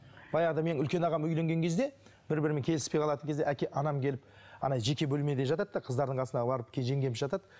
баяғыда менің үлкен ағам үйленген кезде бір бірімен келіспей қалатын кезде әке анам келіп жеке бөлмеде жатады да қыздардың қасына барып жеңгеміз жатады